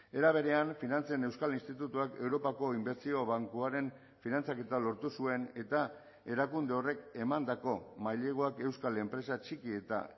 era berean finantzen euskal institutuak europako inbertsio bankuaren finantzaketa lortu zuen eta erakunde horrek emandako maileguak euskal enpresa txiki eta